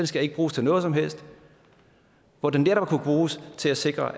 skal bruges til noget som helst hvor den netop kunne bruges til at sikre